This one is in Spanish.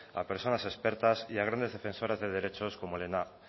a personas expertas y a grandes defensoras de derechos como helena